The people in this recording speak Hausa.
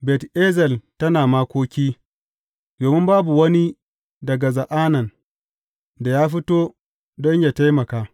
Bet Ezel tana makoki domin babu wani daga Za’anan da ya fito don yă taimaka.